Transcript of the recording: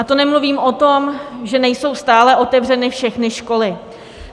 A to nemluvím o tom, že nejsou stále otevřeny všechny školy.